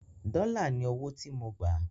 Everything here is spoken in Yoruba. dòla ní ọwọ tí mọ gbà.